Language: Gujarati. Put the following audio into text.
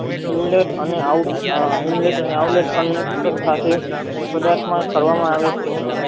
ઉંદર અને આવળાટ system સાથે પદાર્થમાં કરવામાં આવે છે